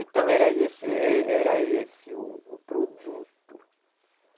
Então era esse eh, era esse o o produto.